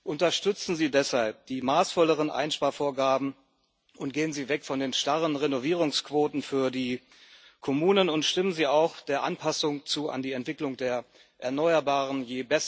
Unterstützen Sie deshalb die maßvolleren Einsparvorgaben, gehen Sie weg von den starren Renovierungsquoten für die Kommunen und stimmen Sie auch der Anpassung an die Entwicklung der Erneuerbaren zu.